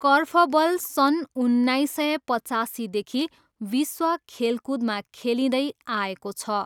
Korfball सन् उन्नाइस सय पचासीदेखि विश्व खेलकुदमा खेलिँदै आएको छ।